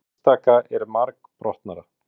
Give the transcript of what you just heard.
Hið einstaka er margbrotnara.